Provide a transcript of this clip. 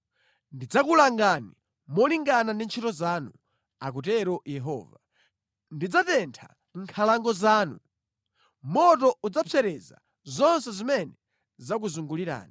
Ndidzakulangani molingana ndi ntchito zanu, akutero Yehova. Ndidzatentha nkhalango zanu; moto udzapsereza zonse zimene zakuzungulirani.’ ”